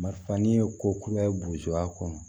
Marifa ni ye ko kura ye a kɔnɔ